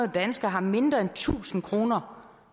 danskere har mindre end tusind kroner